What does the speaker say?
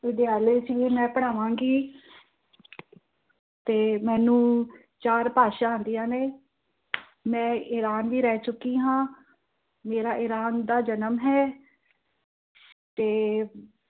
ਵਿਦਿਆਲੇ ਚ ਵੀ ਮੈਂ ਪੜ੍ਹਾਵਾਂ ਗਈ। ਤੇ ਮੈਂਨੂੰ ਚਾਰ ਭਾਸ਼ਾ ਆਂਦਿਆ ਨੇ ਮੈਂ ਇਰਾਨ ਵੀ ਰਹਿ ਚੁੱਕੀ ਆ ਮੇਰਾ ਇਰਾਨ ਦਾ ਜਨਮ ਹੈ ਤੇ